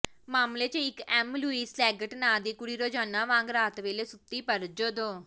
ਮਾਮਲੇ ਚ ਇਕ ਐਮਲੁਈਸ ਲੈਗੇਟ ਨਾਂ ਦੀ ਕੁੜੀ ਰੋਜ਼ਾਨਾ ਵਾਂਗ ਰਾਤ ਵੇਲੇ ਸੁੱਤੀ ਪਰ ਜਦੋਂ